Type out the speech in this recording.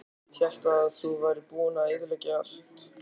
Hélt að þú værir búinn að eyðileggja allt.